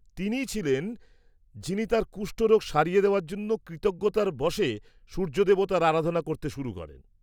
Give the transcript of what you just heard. -তিনিই ছিলেন যিনি তাঁর কুষ্ঠরোগ সারিয়ে দেওয়ার জন্য কৃতজ্ঞতার বশে সূর্য দেবতার আরাধনা করতে শুরু করেন।